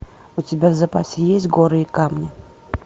у тебя в запасе есть горы и камни